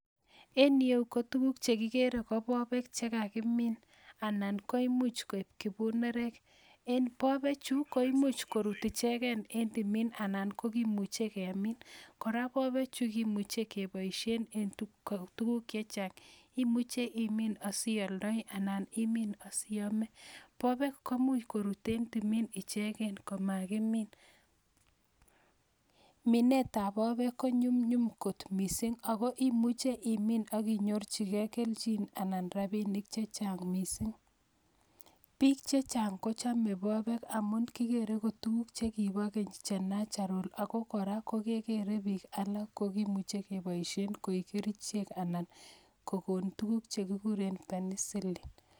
En ireu ko tuguuk che kigeere ko bobek che kakimin anan ko bunerek, en bobe chu koimuch koruutu icheken en timin anan ko kimuche keemin. kora mobechu kimuche keboishien en tuguuk chechang, imin asioldo anan imin asiome, mobek komuch koruut en timin icheken anan kemin. Minetab bobek konyumnyum kot missing, ako imuche imin ak inyorchigei kelchin, biik chechang kochome bobek, kigeere KO tuguk chekibo keny che natural ako kora ko geere bik alak ko kerichik anan ko kokoon tuguuk che kikuuren penicillin